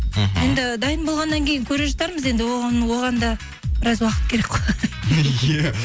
мхм енді дайын болғаннан кейін көре жатармыз енді оған да біраз уақыт керек қой иә